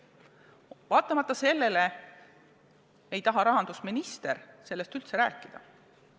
Vaatamata sellele ei taha rahandusminister sellest üldse rääkida.